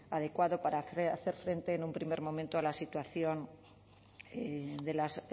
adecuado para hacer frente en un primer momento a la situación de las